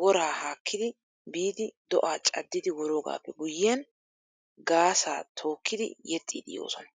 woraa haakkidi biidi do'aa caddidi woroogaappe guyyiyan gaassaa tookkidi yexxiiddi yoosona.